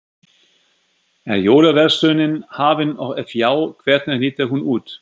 Er jólaverslunin hafin og ef já, hvernig lítur hún út?